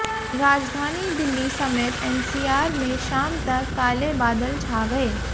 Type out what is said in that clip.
राजधानी दिल्ली समेत एनसीआर में शाम तक काले बादल छा गए